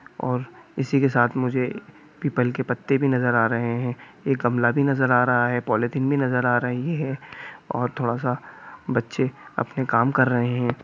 और इसी के साथ मुझे पीपल के पत्ते भी नजर आ रहे हैं एक गमला भी नजर आ रहा है पॉलिथीन भी नजर आ रही है और थोड़ा सा बच्चे अपने काम कर रहे हैं।